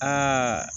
Aa